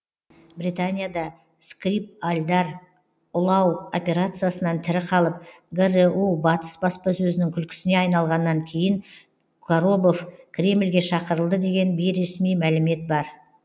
британияда скрипальдар ұлау операциясынан тірі қалып гру батыс баспасөзінің күлкісіне айналғаннан кейін коробов кремльге шақырылды деген бейресми мәлімет бар